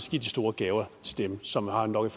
store gaver til dem som har nok